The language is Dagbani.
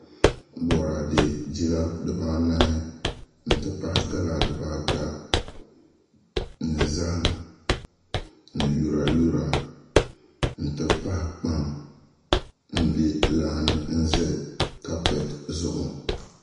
Boraadɛ jila dibaanahi n ti pahi gala dibaata ni zaham ni yura yura n ti pahi kpam n bɛ laa ni tam kaapɛt zuɣu